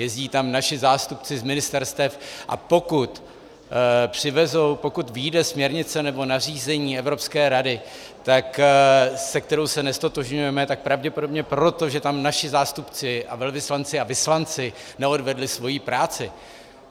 Jezdí tam naši zástupci z ministerstev, a pokud přivezou, pokud vyjde směrnice nebo nařízení Evropské rady, se kterou se neztotožňujeme, tak pravděpodobně proto, že tam naši zástupci a velvyslanci a vyslanci neodvedli svoji práci.